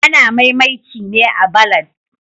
Ana mai'mainci ne a'ballads.